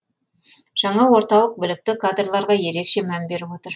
жаңа орталық білікті кадрларға ерекше мән беріп отыр